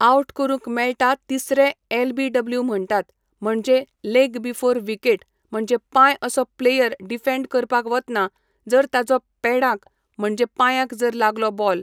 out करूंक मेळटा तीसरें एल बी डब्ल्यू म्हणटात म्हणजे लेग बिफोर विकेट म्हणजे पांय असो प्लेयर डिफेंड करपाक वतना जर ताजो पेडांक म्हणजे पांयांक जर लागलो बॉल